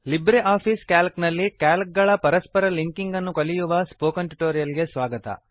Libre office Calc ನಲ್ಲಿ Calc ಗಳ ಪರಸ್ಪರ ಲಿಂಕಿಂಗ್ ಅನ್ನು ಕಲಿಯುವ ಸ್ಪೋಕನ್ ಟ್ಯುಟೋರಿಯಲ್ ಗೆ ಸ್ವಾಗತ